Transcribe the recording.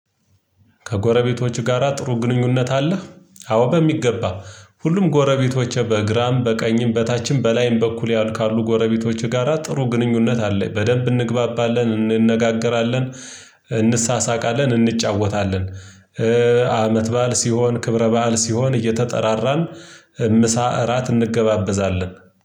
ከጎረቤቶች ጋራ ጥሩ ግንኙነት አለህ? አዎ በሚገባ ሁሉም ጎረቤቶችህ በግራም በቀኝም በታችም በላይም በኩል ያሉ ካሉ ጎረቤቶች ጋራ ጥሩ ግንኙነት አለ በደንብ እንግባባለን እንነጋገራለን እንሳሳቃለን እንጫወታለን። አመት በዓል ሲሆን ክብረ በዓል ሲሆን እየተጠራራን ምሳ እራት እንገባበዛለን።